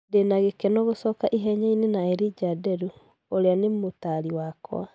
Ndĩ na gĩkeno gũcoka ihenya-inĩ na Elijah Nderu ũria ni mũtari wakwa.